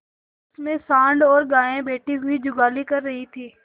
उनमें सॉँड़ और गायें बैठी हुई जुगाली कर रही थी